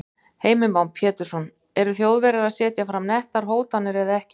Heimir Már Pétursson: Eru Þjóðverjar að setja fram nettar hótanir eða ekki?